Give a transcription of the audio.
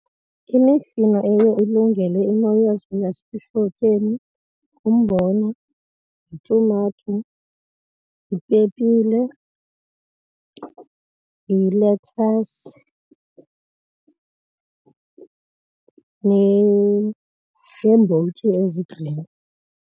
Imifino eye ilungele imo yezulu yasehlotyeni ngumbona, yitumato, yipepile, yilethasi neembotyi ezi-green.